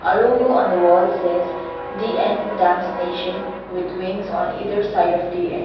a logo on wall says D_N dance nation with wings on either side of D_N.